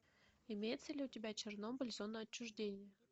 имеется ли у тебя чернобыль зона отчуждения